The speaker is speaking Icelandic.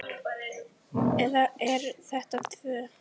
Eða eru þetta tvö?